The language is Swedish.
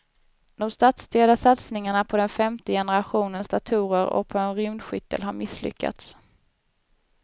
De statsstyrda satsningarna på den femte generationens datorer och på en rymdskyttel har misslyckats.